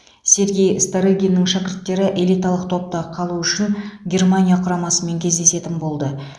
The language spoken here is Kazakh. сергей старыгиннің шәкірттері элиталық топта қалу үшін германия құрамасымен кездесетін болды